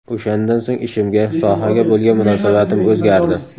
O‘shandan so‘ng ishimga, sohaga bo‘lgan munosabatim o‘zgardi.